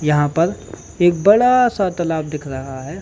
यहाँ पर एक बडा-सा तलाब दिख रहा है।